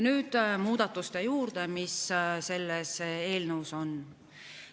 Nüüd muudatuste juurde, mis selles eelnõus on.